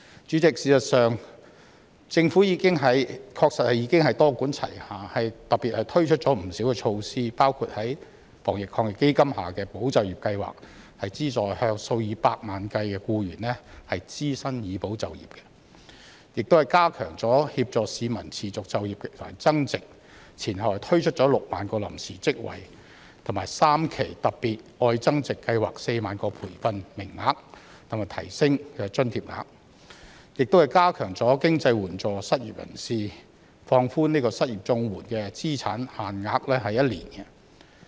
主席，事實上，政府確實已經多管齊下，特別推出了不少措施，包括防疫抗疫基金下的"保就業"計劃，資助數以百萬計僱員支薪以保就業，又加強協助市民持續就業和增值，前後推出了6萬個臨時職位、3期"特別.愛增值"計劃的4萬個培訓名額，以及提升津貼額，亦加強經濟援助失業人士，放寬失業綜援資產限額1年。